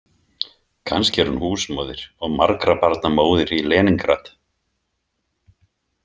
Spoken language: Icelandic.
Kannski er hún húsmóðir og margra barna móðir í Leníngrad.